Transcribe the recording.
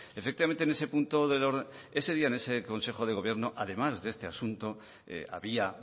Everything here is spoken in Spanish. efectivamente en ese punto ese día en ese consejo de gobierno además de este asunto había